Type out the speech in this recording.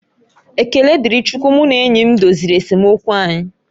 Ekele dịrị Chukwu mụ na enyi m doziri esemokwu anyị